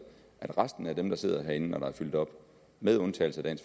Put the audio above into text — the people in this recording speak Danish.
at resten af dem der sidder herinde når der er fyldt op med undtagelse af